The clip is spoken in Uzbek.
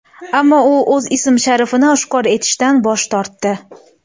Ammo u o‘z ism-sharifini oshkor etishdan bosh tortdi.